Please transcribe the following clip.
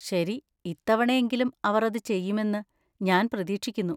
ശരി, ഇത്തവണയെങ്കിലും അവർ അത് ചെയ്യുമെന്ന് ഞാൻ പ്രതീക്ഷിക്കുന്നു.